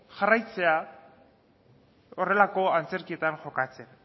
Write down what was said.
jarraitzea horrelako antzerkietan jokatzen